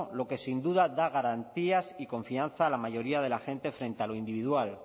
lo que sin duda da garantías y confianza a la mayoría de la gente frente a lo individual